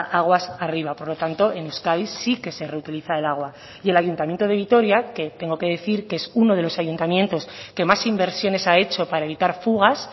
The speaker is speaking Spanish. aguas arriba por lo tanto en euskadi sí que se reutiliza el agua y el ayuntamiento de vitoria que tengo que decir que es uno de los ayuntamientos que más inversiones ha hecho para evitar fugas